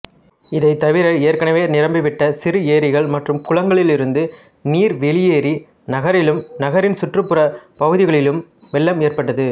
இதுதவிர ஏற்கனவே நிரம்பிவிட்ட சிறு ஏரிகள் மற்றும் குளங்களிலிருந்து நீர் வெளியேறி நகரிலும் நகரின் சுற்றுப்புற பகுதிகளிலும் வெள்ளம் ஏற்பட்டது